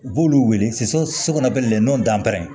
U b'olu wele so kɔnɔ bilen nɔ dantɛ